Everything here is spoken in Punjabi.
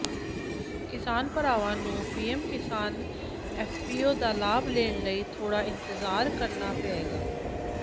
ਕਿਸਾਨ ਭਰਾਵਾਂ ਨੂੰ ਪੀਐਮ ਕਿਸਾਨ ਐਫਪੀਓ ਦਾ ਲਾਭ ਲੈਣ ਲਈ ਥੋੜਾ ਇੰਤਜ਼ਾਰ ਕਰਨਾ ਪਏਗਾ